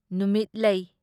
ꯅꯨꯃꯤꯠ ꯂꯩ